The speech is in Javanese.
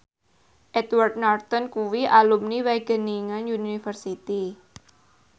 Edward Norton kuwi alumni Wageningen University